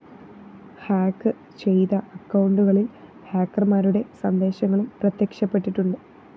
hack ചെയ്ത അക്കൗണ്ടുകളില്‍ ഹാക്കര്‍മാരുടെ സന്ദേശങ്ങളും പ്രത്യക്ഷപ്പെട്ടിട്ടുണ്ട്‌